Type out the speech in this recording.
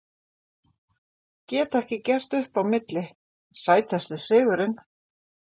Get ekki gert upp á milli Sætasti sigurinn?